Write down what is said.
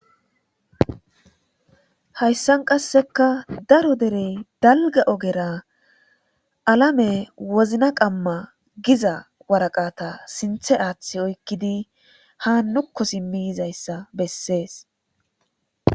Hayisa qasseka darro dere daliga ogera alame wizinna qamma giza wariqata sinthe athi oyikidi ha nuko simi yizayissa besesi